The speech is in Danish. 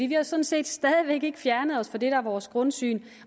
vi har sådan set stadig væk ikke fjernet os fra det der er vores grundsyn